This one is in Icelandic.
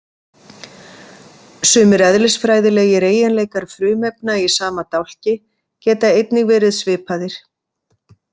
Sumir eðlisfræðilegir eiginleikar frumefna í sama dálki geta einnig verið svipaðir.